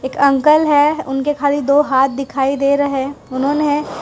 uncle है उनके खाली दो हाथ दिखाई दे रहे हैं उन्होंने--